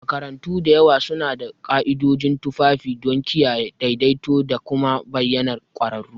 Makarantu da yawa suna da ka'idojin tufafi don kiyaye daidaito da kuma bayyanar ƙwararru.